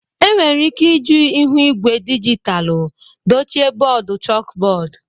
Enwere ike iji ihu igwe dijitalụ dochie bọọdụ chalkbọọdụ.